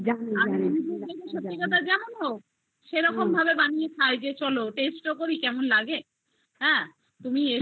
সত্যি কথা জানো তো সেরকম ভাবে বানিয়ে খাই চলো taste ও করি কেমন লাগে হ্যা তুমি এসো